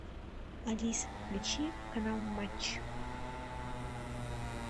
алиса включи канал матч